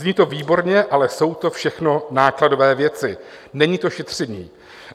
Zní to výborně, ale jsou to všechno nákladové věci, není to šetření.